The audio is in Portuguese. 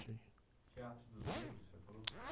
Teatro dos Negros, você falou?